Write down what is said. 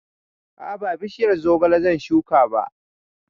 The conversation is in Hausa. A'a ba bishiyar zogale zan shuka ba